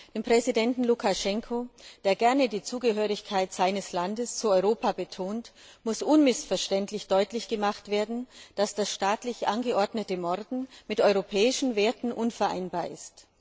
Dem Präsidenten Lukaschenko, der gerne die Zugehörigkeit seines Landes zu Europa betont, muss unmissverständlich deutlich gemacht werden, dass das staatlich angeordnete Morden mit europäischen Werten unvereinbar ist.